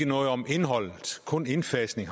noget om indholdet kun indfasning